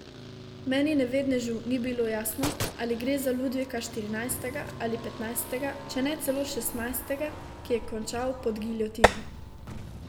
Meni nevednežu ni bilo jasno, ali gre za Ludvika štirinajstega ali petnajstega, če ne celo šestnajstega, ki je končal pod giljotino.